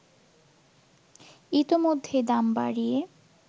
ইতোমধ্যেই দাম বাড়িয়ে